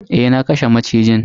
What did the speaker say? Eh, na kashe macijin.